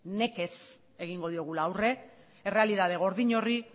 nekez egingo diogula aurrera errealitate gordin horri